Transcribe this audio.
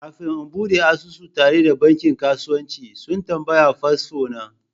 Kafin in bude asusu tare da bankin kasuwanci, sun tambayi fasfo na.